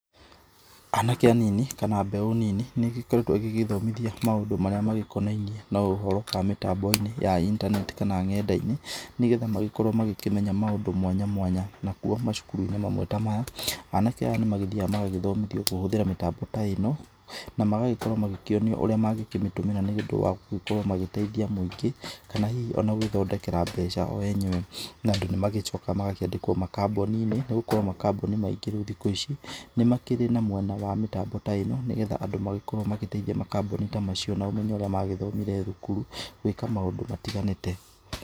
Anake anini kana mbeũ nini, nĩgĩkoretwo ĩgĩgĩĩthomithia maũndũ marĩa magĩkonainĩ na ũhoro wa mĩtambo-inĩ ya internet kana ng'enda-inĩ. Nĩgetha magĩkorwo magĩkĩmenya maũndũ mwanya mwanya. Nakuo, macukuru-inĩ mamwe ta maya, anake aya nĩmagĩthiaga magagĩthomithio kũhũthĩra mĩtambo ta ĩno. Na magagĩkorwo magĩkĩonio ũrĩa mangĩkĩmĩtũmĩra nĩ ũndũ wa gũgĩkorwo magĩteithia mũingĩ. Kana hihi ona gũgĩthondekera mbeca o enyewe. Na Andũ nĩmagĩcokaga magakĩandĩkwo makambũninĩ, nĩ gũkorwo makambũni maingi rĩu thikũ ici nĩmakĩrĩ na mwena wa mĩtambo ta ĩno nĩgetha Andũ magagĩkorwo magĩteithia makambũni ta macio na ũmenyo ũrĩa magĩthomire thukuru gwĩka maũndũ matiganĩte.